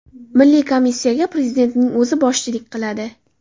Milliy komissiyaga Prezidentning o‘zi boshchilik qiladi.